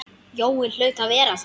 Jói hlaut að vera þar.